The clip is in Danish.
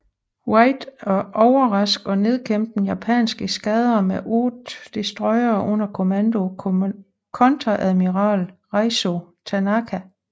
Wright at overraske og nedkæmpe en japansk eskadre med 8 destroyere under kommando af kontreadmiral Raizo Tanaka